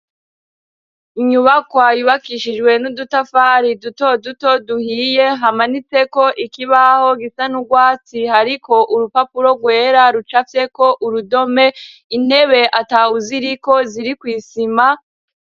Inyubakoayubakishijwe n'udutafari duto duto duhiye hamanitseko ikibaho gisa n'urwatsi hariko urupapuro rwera ruca fyeko urudome intebe atawuziriko ziri kw'isima.